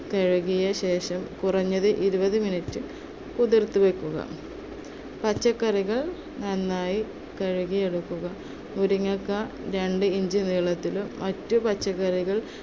കഴുകിയ ശേഷം കുറഞ്ഞത് ഇരുപത് minute കുതിർത്തുവെക്കുക. പച്ചക്കറികൾ നന്നായി കഴുകിയെടുക്കുക. മുരിങ്ങക്കായ രണ്ട്‌ inch നീളത്തിലും മറ്റു പച്ചക്കറികൾ